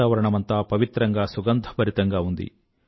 వాతావరణమంతా పవిత్రంగా సుగంధభరితంగా ఉంది